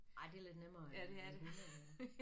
Nej det lidt nemmere end hunde øh